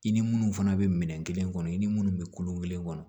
I ni munnu fana bɛ minɛn kelen kɔnɔ i ni minnu bɛ kolon kelen kɔnɔ